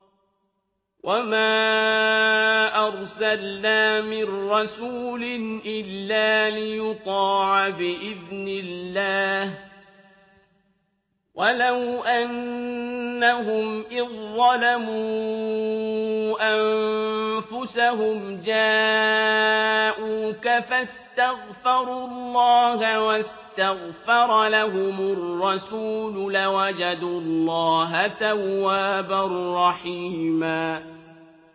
وَمَا أَرْسَلْنَا مِن رَّسُولٍ إِلَّا لِيُطَاعَ بِإِذْنِ اللَّهِ ۚ وَلَوْ أَنَّهُمْ إِذ ظَّلَمُوا أَنفُسَهُمْ جَاءُوكَ فَاسْتَغْفَرُوا اللَّهَ وَاسْتَغْفَرَ لَهُمُ الرَّسُولُ لَوَجَدُوا اللَّهَ تَوَّابًا رَّحِيمًا